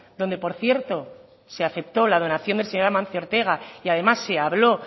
donde por cierto se aceptó la donación del señor amancio ortega y además se habló